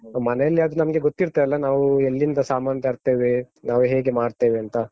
ಮನೆಯಲ್ಲಾದ್ರೆ ನಮ್ಗೆ ಗೊತ್ತಿರ್ತದಲ್ಲ ನಾವು ಎಲ್ಲಿಂದ ಸಾಮಾನ್ ತರ್ತೇವೆ, ನಾವು ಹೇಗೆ ಮಾಡ್ತೇವೆ ಅಂತ.